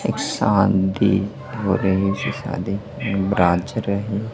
एक शांति ऑरेंज सा दिखने नाच रहे।